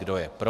Kdo je pro.